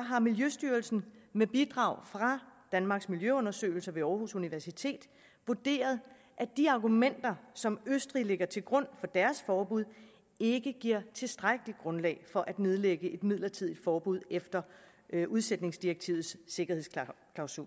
har miljøstyrelsen med bidrag fra danmarks miljøundersøgelser ved aarhus universitet vurderet at de argumenter som østrig lægger til grund for deres forbud ikke giver tilstrækkeligt grundlag for at nedlægge et midlertidigt forbud efter udsætningsdirektivets sikkerhedsklausul